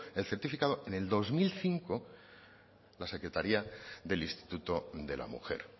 el certificado en el dos mil cinco la secretaría del instituto de la mujer